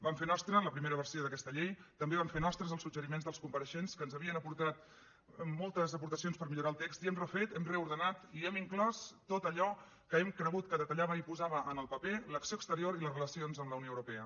vam fer nostra la primera versió d’aquesta llei també vam fer nostres els suggeriments dels compareixents que ens havien aportat moltes aportacions per millorar el text i hem refet hem reordenat i hi hem inclòs tot allò que hem cregut que detallava i posava en el paper l’acció exterior i les relacions amb la unió europea